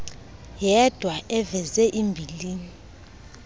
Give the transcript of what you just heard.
yedwa aveze imbilini